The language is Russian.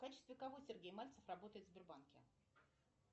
в качестве кого сергей мальцев работает в сбербанке